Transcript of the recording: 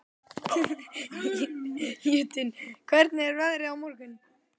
Jötunn, hvernig er veðrið á morgun?